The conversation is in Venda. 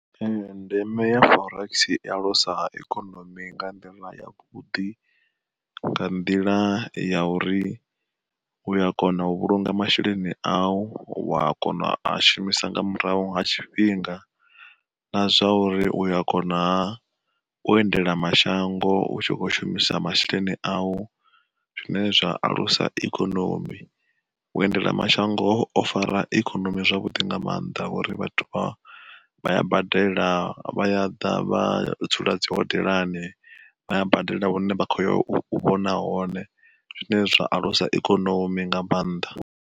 Ee ndeme ya forex iya alusa ikonomi nga nḓila ya vhuḓi, nga nḓila ya uri u ya kona u vhulunga masheleni au, wa kona u a shumisa nga murahu nga tshifhinga. Na zwa uri uya kona u endela mashango u tshi kho shumisa masheleni au, zwine zwa alusa ikonomi. U endela mashango o fara ikonomi zwavhuḓi nga maanḓa ngori vhathu vha vha ya badela vha ya ḓa vha dzula dzi hodelani, vha ya badela hune vha kho ya u vhona hone zwine zwa alusa ikonomi nga mannḓa.